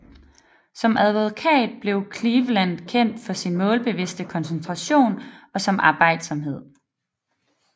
Som advokat blev Cleveland kendt for sin målbevidste koncentration og sin arbejdsomhed